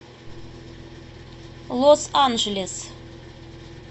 лос анджелес